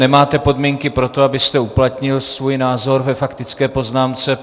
Nemáte podmínky pro to, abyste uplatnil svůj názor ve faktické poznámce.